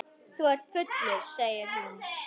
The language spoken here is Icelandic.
Þú ert fullur, segir hún.